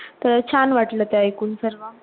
तर छान वाटलं ते ऐकून सर्व